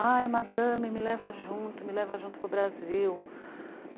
Ai, madame, me leva junto, me leva junto para o Brasil.